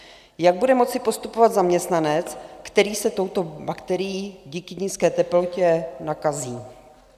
Jak bude moci postupovat zaměstnanec, který se touto bakterií díky nízké teplotě nakazí?